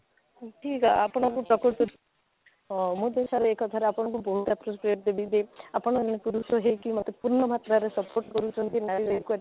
ଏଥିରେ ଆପଣଙ୍କୁ ପ୍ରକୃତରେ ଆଃ ମୁଁ ତା sir ଆପଣଙ୍କୁ ବହୁତ appropriate ଦେବି ଯେ ଆପଣ ଅନ୍ୟ ପୁରୁଷ ହେଇ କି ମୋତେ ପୁର୍ଣ ମାତ୍ରାରେ support କରୁଛନ୍ତି ନାରୀ equity